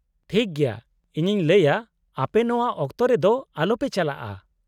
-ᱴᱷᱤᱠ ᱜᱮᱭᱟ ᱾ ᱤᱧᱤᱧ ᱞᱟᱹᱭᱟ ᱟᱯᱮ ᱱᱚᱶᱟ ᱚᱠᱛᱚ ᱨᱮᱫᱚ ᱟᱞᱚᱯᱮ ᱪᱟᱞᱟᱜᱼᱟ ᱾